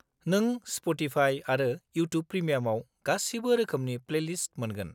नों स्प'टिफाइ आरो इउटुब प्रिमियामाव गासिबो रोखोमनि प्लेलिस्ट मोनगोन।